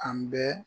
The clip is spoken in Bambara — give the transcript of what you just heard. An bɛ